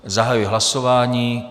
Zahajuji hlasování.